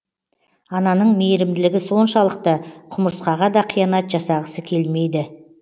ананың мейірімділігі соншалықты құмырсқаға да қиянат жасағысы келмейді